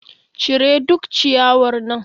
Cire duk ciyawar nan.